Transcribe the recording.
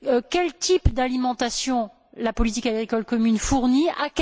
Quel type d'alimentation la politique agricole commune fournit elle?